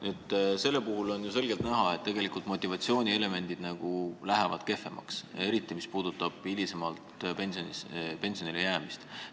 Selle eelnõu puhul on ju selgelt näha, et tegelikult motivatsioonielemendid lähevad nõrgemaks, eriti mis puudutab hiljem pensionile jäämist.